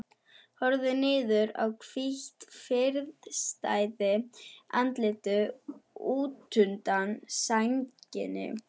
Horfir niður í hvítt, friðsælt andlitið útundan sænginni.